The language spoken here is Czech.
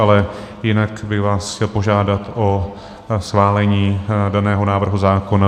Ale jinak bych vás chtěl požádat o schválení daného návrhu zákona.